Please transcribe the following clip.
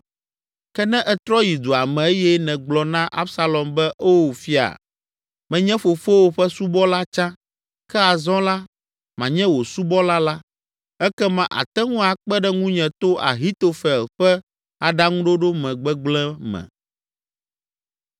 Ke ne ètrɔ yi dua me eye nègblɔ na Absalom be, ‘O fia, menye fofowò ƒe subɔla tsã, ke azɔ la, manye wò subɔla’ la, ekema àte ŋu akpe ɖe ŋunye to Ahitofel ƒe aɖaŋuɖoɖo me gbegblẽ me.